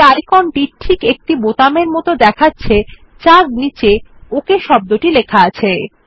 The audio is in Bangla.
এই আইকন টি ঠিক একটি বোতামের এর মত দেখাচ্ছে যার উপর ওক শব্দ আছে